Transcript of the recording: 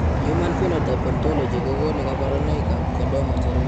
Human Phenotype Ontology kokonu kabarunoikab Chordoma cherube.